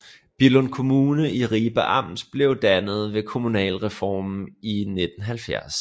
Billund Kommune i Ribe Amt blev dannet ved kommunalreformen i 1970